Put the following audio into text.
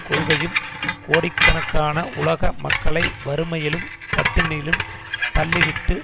கொள்கையும் கோடிக்கணக்கான உலக மக்களை வறுமையிலும் பட்டினியிலும் தள்ளிவிட்டு